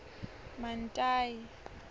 mantayi